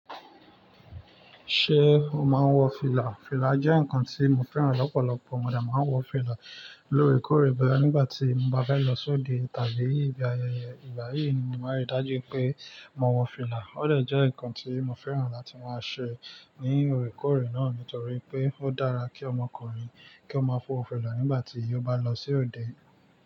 Ṣé o máa ń wọ fìlà? Fìlà jẹ́ ǹkan tí mo fẹ́ràn lọ́pọ̀lọpọ̀, mo de máa ń wọ fìlà lórèkórè, boya nígbà tí mo bá fẹ́ lọ sí òde tàbí ìgba ayẹyẹ. Ìgbà yìí ni mo máa rí dájú pé mo wọ fìlà. Ó dè jẹ́ ǹkan tí mo fẹ́ràn láti máa ṣe ní òrékórè náà nítorí pé ó dára kí ọmọkùnrin kí ó máa wọ̀ fìlà nígbà tí ó bá lọ sí òde.